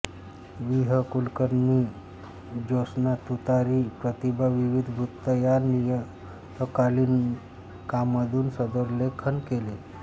वि ह कुलकर्णींनी ज्योत्स्ना तुतारी प्रतिभा विविध वृत्त या नियतकालिकांमधून सदरलेखन केले